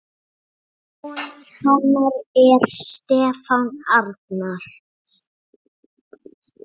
Sonur hennar er Stefán Arnar.